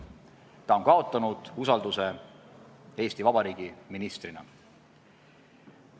Ta on kaotanud usalduse Eesti Vabariigi ministrina.